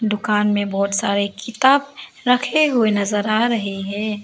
दुकान में बहुत सारे किताब रखे हुए नजर आ रहे हैं।